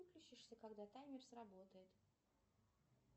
выключишься когда таймер сработает